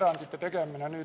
Aitäh!